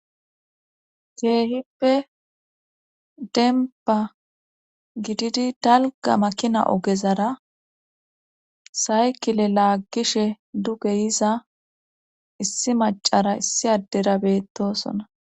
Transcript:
keehippe denpa gididi dalga makina ogezara saykile laaggishe dugeyiza issi macara issi addera beettosona